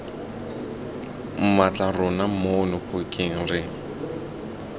mmatla rona mono phokeng re